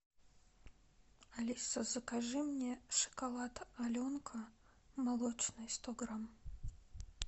алиса закажи мне шоколад аленка молочный сто грамм